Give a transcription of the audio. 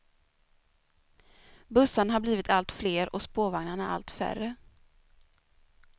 Bussarna har blivit allt fler och spårvagnarna allt färre.